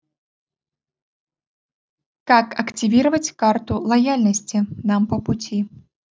как активировать карту лояльности нам по пути